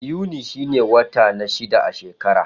Yuni shine wata na shida na shekara.